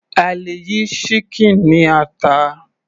A lè yí ṣíkìn ní ata.